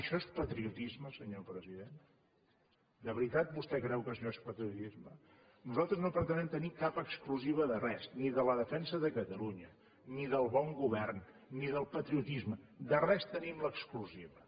això és patriotisme senyor president de veritat vostè creu que això és patriotisme nosaltres no pretenem tenir cap exclusiva de res ni de la defensa de catalunya ni del bon govern ni del patrio tisme de res tenim l’exclusiva